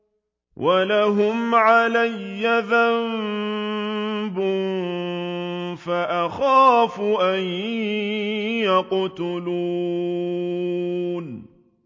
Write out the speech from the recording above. وَلَهُمْ عَلَيَّ ذَنبٌ فَأَخَافُ أَن يَقْتُلُونِ